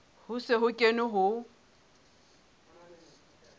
ho se ho kenwe ho